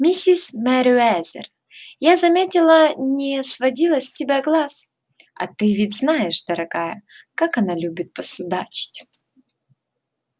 миссис мерриуэзер я заметила не сводила с тебя глаз а ты ведь знаешь дорогая как она любит посудачить